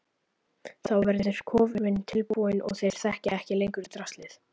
Þá verður kofinn tilbúinn og þeir þekkja ekki lengur draslið.